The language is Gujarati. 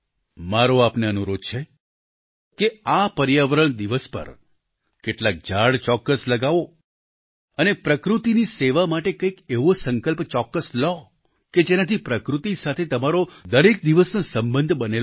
મારો આપને અનુરોધ છે કે આ પર્યાવરણ દિવસ પર કેટલાક ઝાડ ચોક્કસ લગાવો અને પ્રકૃતિની સેવા માટે કંઈક એવો સંકલ્પ ચોક્કસ લ્યો કે જેનાથી પ્રકૃતિ સાથે તમારો દરેક દિવસનો સંબંધ બનેલો રહે